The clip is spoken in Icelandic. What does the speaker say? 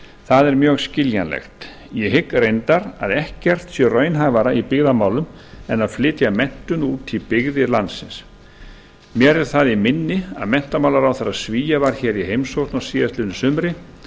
það er mjög skiljanlegt ég hygg raunar að ekkert sé raunhæfara í byggðamálum en að flytja menntun út í byggði landsins mér er það í minni að menntamálaráðherra svía var í heimsókn á síðastliðnu sumri